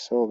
sooge